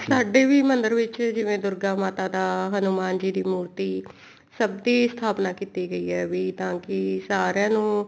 ਸਾਡੇ ਵੀ ਮੰਦਿਰ ਵਿੱਚ ਜਿਵੇਂ ਦੁਰਗਾ ਮਾਤਾ ਦਾ ਹਨੁਮਾਨ ਜੀ ਦੀ ਮੂਰਤੀ ਸਭ ਦੀ ਸਥਾਪਨਾ ਕੀਤੀ ਗਈ ਹੈ ਵੀ ਤਾਂ ਕਿ ਸਾਰੀਆਂ ਨੂੰ